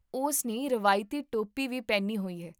ਉਸ ਨੇ ਰਵਾਇਤੀ ਟੋਪੀ ਵੀ ਪਹਿਨੀ ਹੋਈ ਹੈ